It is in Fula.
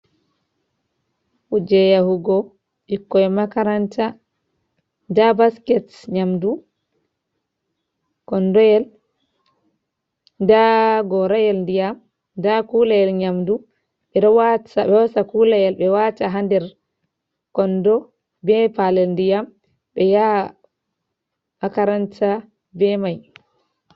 Kuje yahugo bikkoi makaranta. Nda basket nyamɗu, konɗoyel, Nda gorayel diyam, nda kulayel nyamɗu beɗo bosa kulayel be wata ha nder konɗo be palel ndiyam be yaa makaranta be mai.